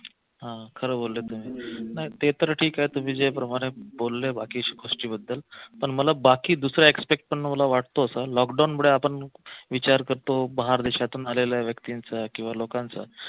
हा खरं बोलले तुम्ही नाही ते तर ठीके तुम्ही ज्या प्रमाणे बोलले बाकी गोष्टीबद्दल पण मला बाकी दुसरं expect पण वाटतो असा लॉकडाऊन मुळे आपण विचार करतो बाहेर देशातून आलेल्या व्यक्तींचा किंवा लोकांचा